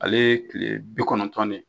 Ale ye kile bi kɔnɔntɔn de.